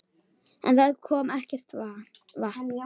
En það kom ekkert vatn.